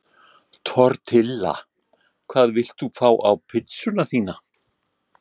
Tortilla Hvað vilt þú fá á pizzuna þína?